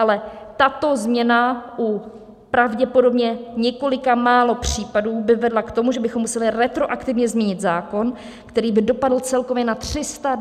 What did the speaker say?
Ale tato změna u pravděpodobně několika málo případů by vedla k tomu, že bychom museli retroaktivně změnit zákon, který by dopadl celkově na 327 000 firem.